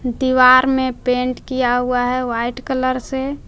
दीवार में पेंट किया हुआ है व्हाइट कलर से।